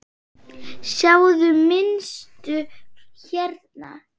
Sjáiði mynstur hérna?